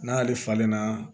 N'ale falenna